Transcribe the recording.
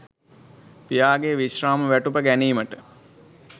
පියාගේ විශ්‍රාම වැටුප ගැනීමට